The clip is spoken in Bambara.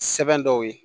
Sɛbɛn dɔw ye